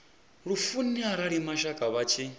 lufuni arali mashaka vha tshi